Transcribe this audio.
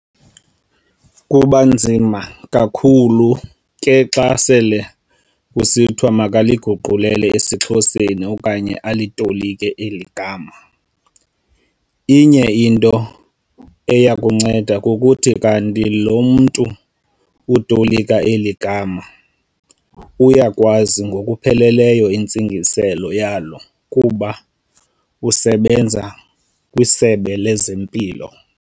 Kuba nzima kakhulu ke xa sele kusithiwa makaliguqulele esiXhoseni okanye alitolike eli gama. Inye into eyakunceda kukuthi kanti lo mntu utolika eli gama uyayazi ngokupheleleyo intsingiselo yalo kuba usebenza kwisebe lezempilo.